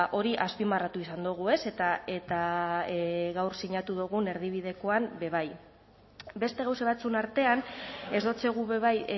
hori azpimarratu izan dugu eta gaur sinatu dugun erdibidekoan be bai beste gauza batzuen artean ez dotzegu be bai